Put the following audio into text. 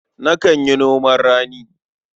Nakan yi noman rani.